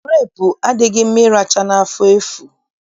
Gurepu adịghị mma ịracha n'afọ efu